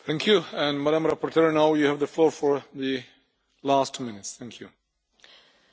Domnule președinte, doamnă comisar, în primul rând, vreau să le mulțumesc tuturor colegilor care au luat cuvântul.